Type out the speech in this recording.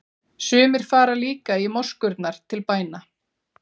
Sumir fara líka í moskurnar til bæna.